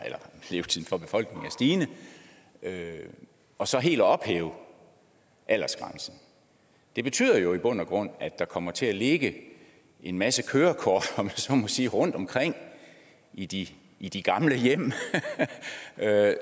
stigende og så helt at ophæve aldersgrænsen det betyder jo i bund og grund at der kommer til at ligge en masse kørekort om så må sige rundtomkring i de i de gamle hjem